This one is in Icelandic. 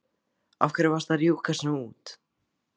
Af hverju varstu að rjúka svona út?